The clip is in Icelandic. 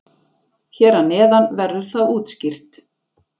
Hér að neðan verður það útskýrt.